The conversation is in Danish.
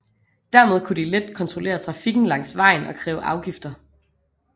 Dermed kunne de let kontrollere trafikken langs vejen og kræve afgifter